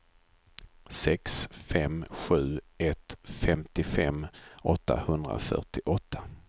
sex fem sju ett femtiofem åttahundrafyrtioåtta